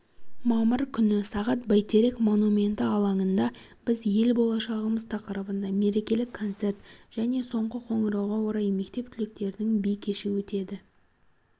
мамыр күні сағат бәйтерек монументі алаңында біз ел болашағымыз тақырыбында мерекелік концерт және соңғы қоңырауға орай мектеп түлектерінің би кеші өтеді